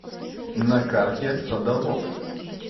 на карте садовод